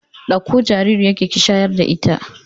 Ɗakko jaririyar ki shayar da ita